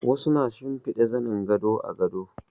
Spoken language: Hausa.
Wasu na shimfida zanin gado a gado